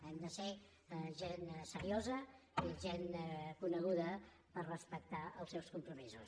hem de ser gent seriosa i gent coneguda per respectar els seus compromisos